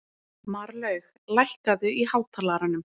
Marlaug, lækkaðu í hátalaranum.